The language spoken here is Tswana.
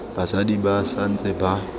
basadi ba sa ntse ba